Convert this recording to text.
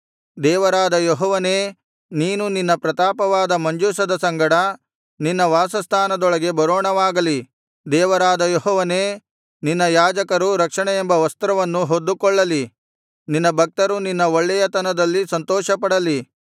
ದೇವರಾದ ಯೆಹೋವನೇ ನೀನು ನಿನ್ನ ಪ್ರತಾಪವಾದ ಮಂಜೂಷದ ಸಂಗಡ ನಿನ್ನ ವಾಸಸ್ಥಾನದೊಳಗೆ ಬರೋಣವಾಗಲಿ ದೇವರಾದ ಯೆಹೋವನೇ ನಿನ್ನ ಯಾಜಕರು ರಕ್ಷಣೆಯೆಂಬ ವಸ್ತ್ರವನ್ನು ಹೊದ್ದುಕೊಳ್ಳಲಿ ನಿನ್ನ ಭಕ್ತರು ನಿನ್ನ ಒಳ್ಳೆಯತನದಲ್ಲಿ ಸಂತೋಷಪಡಲಿ